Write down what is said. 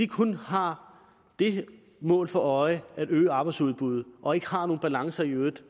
kun har det mål for øje at øge arbejdsudbuddet og ikke har nogen balancer i øvrigt